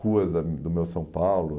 Ruas da do meu São Paulo.